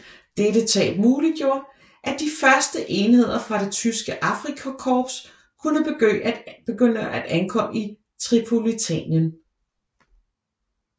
Dette tab muliggjorde at de første enheder fra det tyske Afrikakorps kunne begynde at ankomme i Tripolitanien